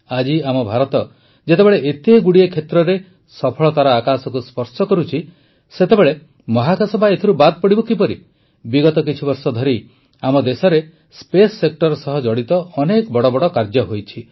ଆଜି ଆମ ଭାରତ ଯେତେବେଳେ ଏତେଗୁଡ଼ିଏ କ୍ଷେତ୍ରରେ ସଫଳତାର ଆକାଶକୁ ସ୍ପର୍ଶ କରୁଛି ସେତେବେଳେ ମହାକାଶ ବା ଏଥିରୁ ବାଦ ପଡ଼ିବ କିପରି ବିଗତ କିଛିବର୍ଷ ଧରି ଆମ ଦେଶରେ ସ୍ପେସ୍ ସେକ୍ଟର୍ ସହ ଜଡ଼ିତ ଅନେକ ବଡ଼ ବଡ଼ କାର୍ଯ୍ୟ ହୋଇଛି